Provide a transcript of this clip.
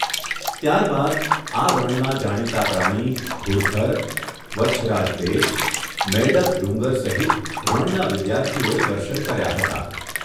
ત્યારબાદ આ રણના જાણીતા પ્રાણી ઘૂડખર, વચ્છરાજ બેટ, મૈડક ડુંગર સહિત રણના વિદ્યાર્થીઓએ દર્શન કર્યા હતા.